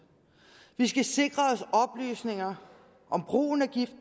vi skal sikre os oplysninger om brugen af gift